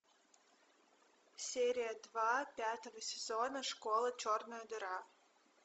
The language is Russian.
серия два пятого сезона школа черная дыра